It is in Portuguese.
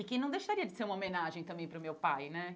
E que não deixaria de ser uma homenagem também para o meu pai, né?